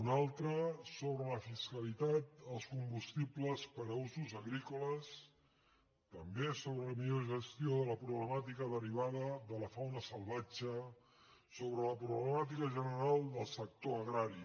un altre sobre la fiscalitat als combustibles per a usos agrícoles també sobre la millor gestió de la problemà·tica derivada de la fauna salvatge sobre la proble·màtica general del sector agrari